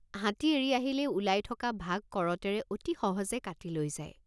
হাতী এৰি আহিলেই ওলাই থকা ভাগ কৰতেৰে অতি সহজে কাটি লৈ যায়।